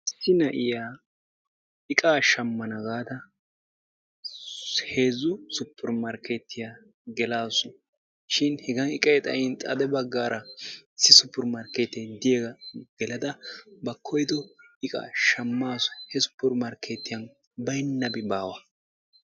Issi na'iya iqqaa shammana gaada heezzu suppermartiya geelasu shin hega iqqay xayyin xade baggara issi suppermarketiya gelada bayyo koyyido iqqa shammasu hegan baynnabi baawa.